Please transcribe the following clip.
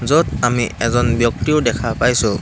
য'ত আমি এজন ব্যক্তিও দেখা পাইছোঁ।